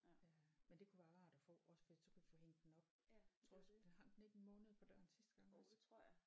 Øh men det kunne være rart at få også fordi så kunne vi få hængt den op tror også hang den ikke en måned på døren sidste gang også